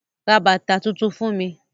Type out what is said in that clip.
Ra bàtà tuntun fún mi?